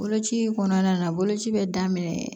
Boloci kɔnɔna na boloci bɛ daminɛ